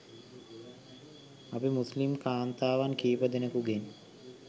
අපි මුස්‌ලිම් කාන්තාවන් කිහිප දෙනකුගෙන්